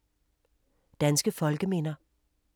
Danske folkeminder